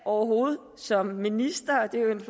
overhovedet som minister og det er en